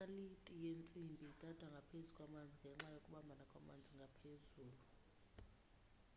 inaliti yentsimbi idada ngaphezu kwamanzi ngenxa yokubambana kwamanzi ngaphezulu